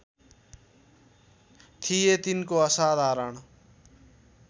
थिए तिनको असाधारण